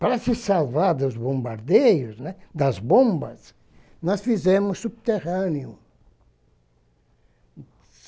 Para se salvar dos bombardeios, né, das bombas, nós fizemos subterrâneo.